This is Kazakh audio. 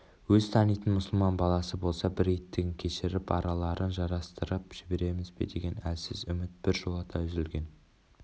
өзі танитын мұсылман баласы болса бір иттігін кешіріп араларын жарастырып жіберерміз бе деген әлсіз үміт біржолата үзілген